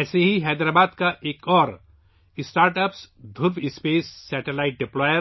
اسی طرح حیدرآباد کا ایک اور startup, Dhruva space, satellite deployer